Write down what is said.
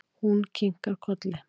Hún kinkaði kolli.